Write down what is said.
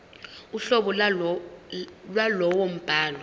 uhlobo lwalowo mbhalo